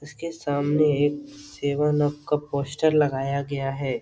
उसके सामने एक सेवन अप का पोस्टर लगाया गया है।